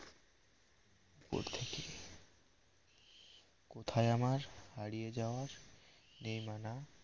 কোথায় আমার হারিয়ে যাওয়ার নেই মানা